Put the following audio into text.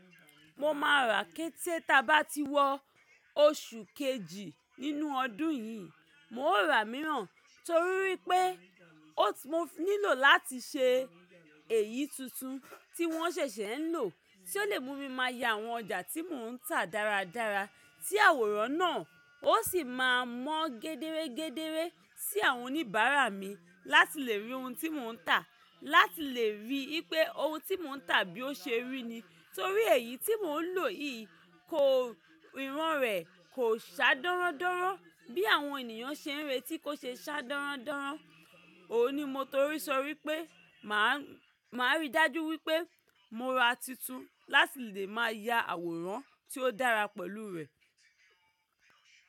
Mo máa rà kété tí a bá ti wọ oṣù kejì nínú ọdún yìí. Mo raa imíràn torí wípé oti mo nílò láti se èyí tuntun tí wọ́n ṣẹ̀ṣẹ̀ ń lò, tí ó lè mú mi máa ya àwọn ọjà tí mò ń tà dáradára. Tí àwòrán náà ó sì máa mọ́n gédére-gédére sí àwọn oníbàárà mi láti lè rí ohun tí mò ń tà, láti lè rí ipé ohun tí mò ń tà bí ó ṣe rí ni. Torí èyí tí mò ń lò yìí, kò ìran rẹ̀ kò sá dọ́rọ́ndọ́rọ́ bí àwọn ènìyàn ṣe ń retí kó ṣe sá dọ́rọ́ndọ́rọ́. Óun ní mo torí sọ wípé, mà á rí dájú wípé mo ra titun láti lè máa ya àwòrán tí ó dára pẹ̀lú rẹ̀.